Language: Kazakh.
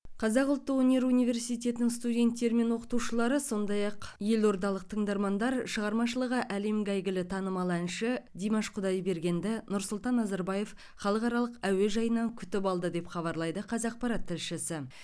қазақ ұлттық өнер университетінің студенттері мен оқытушылары сондай ақ еордалық тыңдармандар шығармашылығы әлемге әйгілі танымал әнші димаш құдайбергенді нұрсұлтан назарбаев халықаралық әуежайынан күтіп алды деп хабарлайды қазақпарат тілшісі